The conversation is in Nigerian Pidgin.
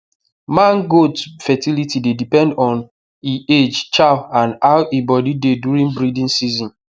man goats fertility dey depend on e age chow and and how e body dey during breeding season